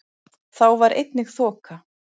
Þá var einnig þoka